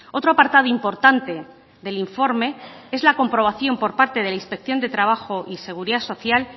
otro apartado importante del informe es la comprobación por parte de la inspección de trabajo y seguridad social